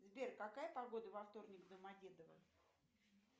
сбер какая погода во вторник в домодедово